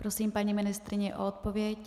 Prosím paní ministryni o odpověď.